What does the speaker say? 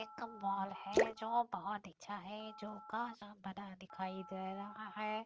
एक मॉल है जो बहुत अच्छा है जो कांच का बना दिखाई दे रहा है।